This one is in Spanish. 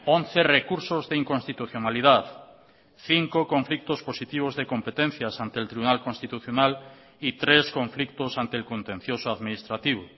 once recursos de inconstitucionalidad cinco conflictos positivos de competencias ante el tribunal constitucional y tres conflictos ante el contencioso administrativo